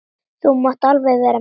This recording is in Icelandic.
Þú mátt alveg vera með.